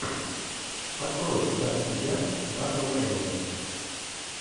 открой гадкий я дага лаймана